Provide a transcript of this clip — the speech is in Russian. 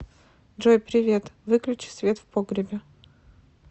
джой привет выключи свет в погребе